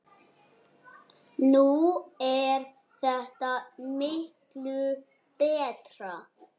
Nú er þetta miklu betra.